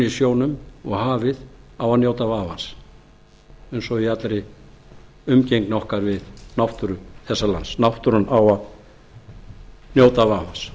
sjónum og hafið á að njóta vafans eins og í allri umgengni okkar við náttúru þessa lands náttúran á að njóta vafans